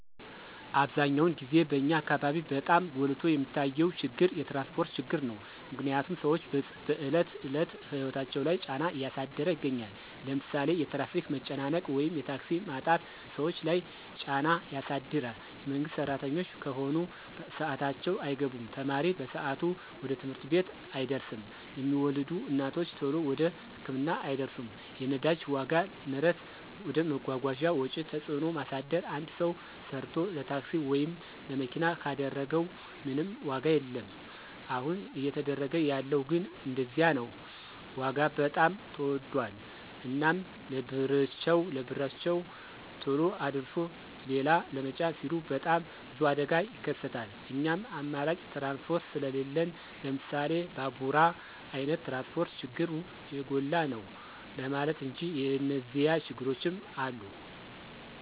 አብዛኛውን ግዜ በኛ አካበቢ በጣም ጎልቶ የሚታየው ችግር የትራንስፖርት ችግር ነው። ምክንያትም ስዎች በዕለት ተዕለት ህይወታቸው ላይ ጫና እያሳደረ ይገኛል። ለምሳሌ የትራፊክ መጨናነቅ ወይም የታክሲ ማጣት ሰዎች ለይ ጫና ያሳድር የመንግስት ስራተኞች ከሆኑ በስአታቸው አይገቡም፣ ተማሪ በሰአቱ ወደ ትምህርት ቤት አይደርስም፣ የሚወልዱ እናቶች ተሎ ወደ ህክምና አይደርሱም። የነዳጅ ዋጋ ንረት ወደ መጓጓዣ ወጪ ተጽዕኖ ማሳደር አንድ ሰው ሰርቶ ለታክሲ ወይም ለመኪና ካደረገው ምንም ዋጋ የለወም አሁን እየተደረገ ያለው ግን እንደዚያ ነው ዋጋ በጣም ተወዶል። እናም ለብርቸው ተሎ አድርሶ ሊላ ለመጫን ሲሉ በጣም ብዙ አደጋ ይከሰታል እናም አማራጭ ትራንስፖርት ስሊለን ለምሳሌ ባቡራ አይነት ትራንስፖርት ችግሩ የጎላ ነው ለማለት እንጂ የኒዚያ ችግሮችም አሉ።